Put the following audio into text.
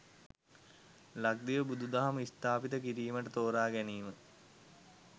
ලක්දිව බුදුදහම ස්ථාපිත කිරීමට තෝරාගැනීම